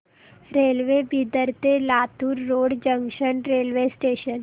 railway Bidar ते Latur road junction railway station